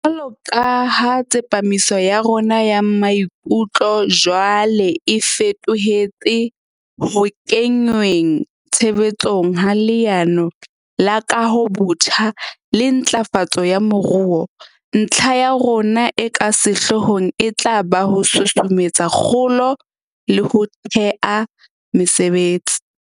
Jwaloka ha tsepamiso ya rona ya maikutlo jwale e feto hetse ho kenngweng tshebe tsong ha Leano la Kahobotjha le Ntlafatso ya Moruo, ntlha ya rona e ka sehloohong e tla ba ho susumetsa kgolo le ho thea mesebetsi.